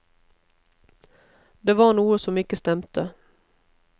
Det var noe som ikke stemte.